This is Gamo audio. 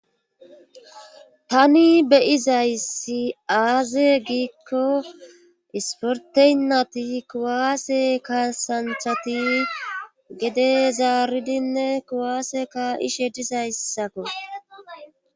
tani beyizayssi aaze giikko isporteynati kuwaase ka santhati gede zaaridinne kuwaase ka ishe dizayssakko